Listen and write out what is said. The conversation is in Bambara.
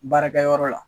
Baarakɛyɔrɔ la